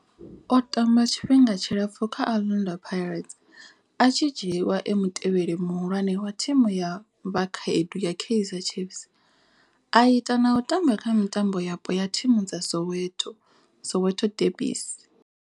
O tamba tshifhinga tshilapfhu kha Orlando Pirates, a tshi dzhiiwa e mutevheli muhulwane wa thimu ya vhakhaedu ya Kaizer Chiefs, a ita na u tamba kha mitambo yapo ya thimu dza Soweto Soweto derbies.